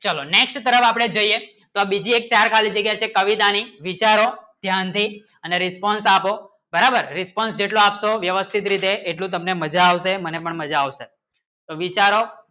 ચલો next તરફ આપણે જોઈએ તો બીજી એક ચાર ખાલી જગ્ય શે કવિતા ની વિચારો ધ્યાન દે એની response આપો બરાબર response જેટલો આપશો વ્યવસ્થિત રીતે એટલું તમને મજા આવશે મને પણ મજા આવશે તો વિચારો